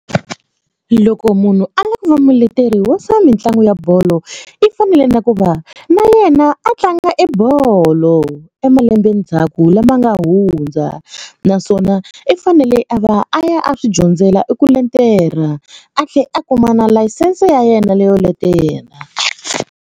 Loko munhu a lava ku va muleteri wa swa mitlangu ya bolo i fanele na ku va na yena a tlanga e bolo e malembe ndzhaku lama nga hundza naswona i fanele a va a ya a swi dyondzela i ku letela a tlhela a kuma na layisense ya yena leyo letela.